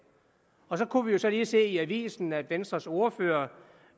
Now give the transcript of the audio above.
så kunne vi så lige se i avisen at venstres ordfører